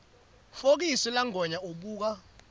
fokisi langwenya ubuka